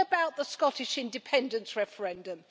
What about the Scottish independence referendum?